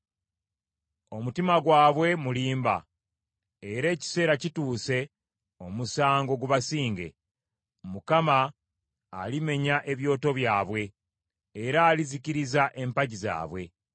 Omutima gwabwe mulimba, era ekiseera kituuse omusango gubasinge. Mukama alimenya ebyoto byabwe, era alizikiriza empagi zaabwe.